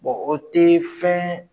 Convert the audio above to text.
o tɛ fɛn